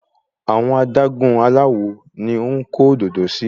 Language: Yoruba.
Àwọn adágún aláwo ni à ń kó òdòdó sí.